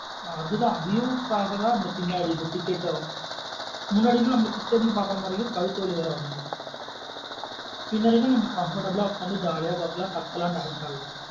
ஆஹ் அது தான் view க்கு காக தன் பின்னாடி ticket உம். முன்னாடி இருந்து நம்ம கிட்ட இருந்து பாக்கற மாத்ரி இருக்கும் கழுத்து வலி வேற வந்திரும். பின்னாடி இருந்து பாத்த நம்ம comfortable ஆ உக்காந்து jolly ஆ பாக்கலாம் கத்தெல்லாம் dance ஆடலம்.